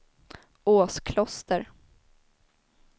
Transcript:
Åskloster